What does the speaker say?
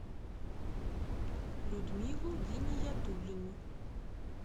людмилу гиниятуллину